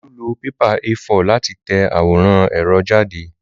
Olú lọ pépà A4 láti tẹ àwòrán ẹ̀rọ jáde